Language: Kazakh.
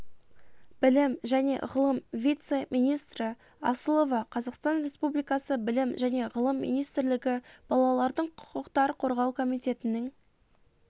білім және ғылым вице-министрі асылова қазақстан республикасы білім және ғылым министрлігі балалардың құқықтар қорғау комитетінің